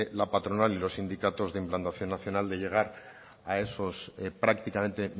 la patronal y los sindicatos de implantación nacional de llegar a esos prácticamente